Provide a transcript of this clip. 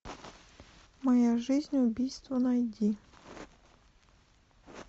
моя жизнь убийство найди